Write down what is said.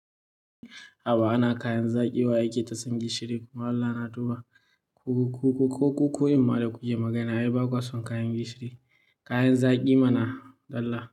Haba ana kayan zaki wa yake ta sun gishiri kuma Allah na duba. Kuku kuku ko kuku in ma da ku ke magana, ai ba kwasan kayan gishiri. Kayan zaki mana Allah.